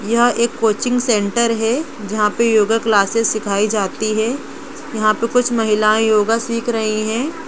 यह एक coaching centre है जहां पर योगा क्लासस सिखाई जाती है यहां पे कुछ महिलाएं योगा सीख रही हैं।